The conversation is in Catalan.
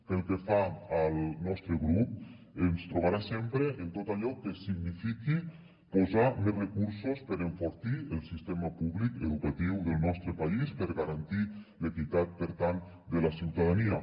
pel que fa al nostre grup ens trobarà sempre en tot allò que signifiqui posar més recursos per enfortir el sistema públic educatiu del nostre país per garantir l’equitat per tant de la ciutadania